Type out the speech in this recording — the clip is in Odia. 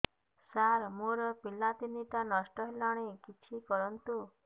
ସାର ମୋର ପିଲା ତିନିଟା ନଷ୍ଟ ହେଲାଣି କିଛି କରନ୍ତୁ